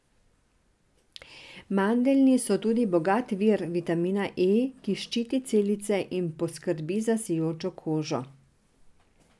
Mandeljni so tudi bogat vir vitamina E, ki ščiti celice in poskrbi za sijočo kožo.